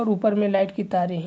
ऊपर में लाइट की --